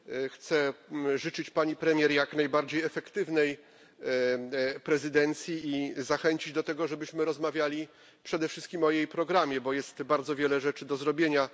Chcę życzyć pani premier jak najbardziej efektywnej prezydencji i zachęcić do tego, żebyśmy rozmawiali przede wszystkim o jej programie, bo jest bardzo wiele rzeczy do zrobienia.